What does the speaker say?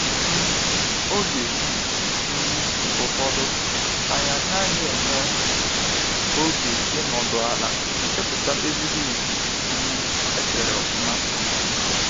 um Oge um ụfọdụ anyị anaghị enwee oge ịnọdụ ala, chepụta ezigbo izu um echere ọfụma.